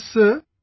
Yes sir